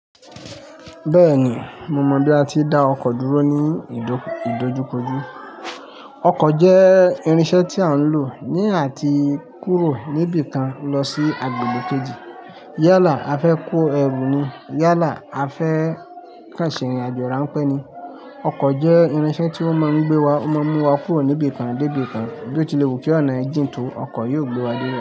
Bẹ́ẹ̀ni, mo mọ bí a ti ń dá ọkọ̀ dúró ní ìdojukodu Ọkọ̀ jẹ́ irinṣẹ́ tí a ń lò ní àti kúrò níbi kan lọ sí agbègbè kejì. Yálà a fẹ́ kó ẹrù ni, yálà a fẹ́ kẹ́ṣìn irin-àjò rà ń pẹ́ ni. Ọkọ̀ jẹ́ irinṣẹ́ tí ó máa ń gbé wa, ó máa ń mú wa kúrò níbi kan dé ibi kan. Bí ó tilẹ̀ wù kí ọ̀nà ẹ jìn tó, ọkọ̀ yóò gbé wa dé dé.